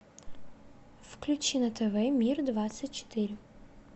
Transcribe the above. включи на тв мир двадцать четыре